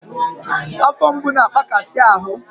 Afọ mgbu na-agbakasi ahụ